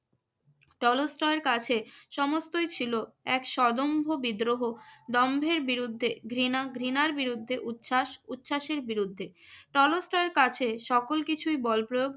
Tolstoy কাছে সমস্তই ছিল এক স্বদম্ভ বিদ্রোহ। দম্ভের বিরুদ্ধে ঘৃণা, ঘৃণার বিরুদ্ধে উচ্ছ্বাস, উচ্ছ্বাসের বিরুদ্ধে। টলস্টয় কাছে সকল কিছুই বল প্রয়োগ